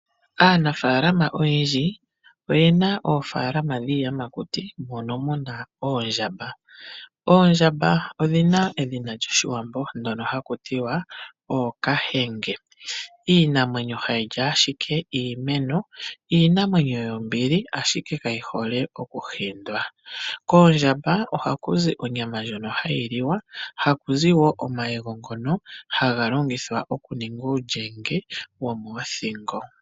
Aanafalama oyendji oyena oofalama dhiiyamakuti mono muna oondjamba. Oondjamba odhina edhina lyOshiwambo ndyono haku tiwa ookahenge, iinamwenyo hayi li ashike iimeno, iinamwenyo yombili ashike kayi hole okuhindwa. Koondjamba ohaku zi onyama ndjono hayi liwa, haku zi wo omayego ngono haga longithwa okuninga uulyenge womoothingo.